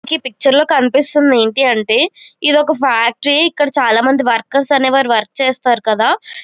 ఈ పిక్చర్ లో కనిపిస్తుంది ఏంటి అంటే ఇది ఒక ఫ్యాక్టరీ ఇక్కడ చాలామంది వర్కర్స్ అనేవారు వర్క్ చేస్తారు కదా --